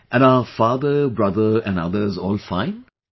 Yes, and are father, brother and others all fine